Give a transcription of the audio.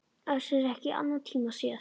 Össur ekki í annan tíma séð.